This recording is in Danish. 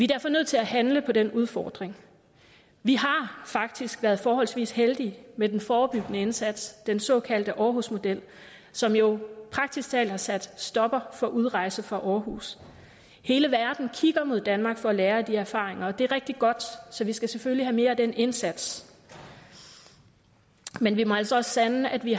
derfor nødt til at handle på den udfordring vi har faktisk været forholdsvis heldige med den forebyggende indsats den såkaldte aarhus model som jo praktisk talt har sat en stopper for udrejse fra aarhus hele verden kigger mod danmark for at lære af de erfaringer og det er rigtig godt så vi skal selvfølgelig have mere af den indsats men vi må altså også sande at vi